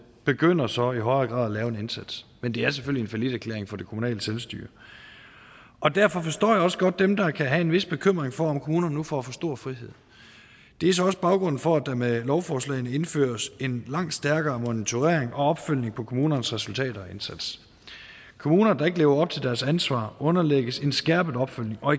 begynder så i højere grad at lave en indsats men det er selvfølgelig en falliterklæring for det kommunale selvstyre og derfor forstår jeg også godt dem der kan have en vis bekymring for om kommunerne nu får for stor frihed det er så også baggrunden for at der med lovforslagene indføres en langt stærkere monitorering og opfølgning på kommunernes resultater og indsats kommuner der ikke lever op til deres ansvar underlægges en skærpet opfølgning og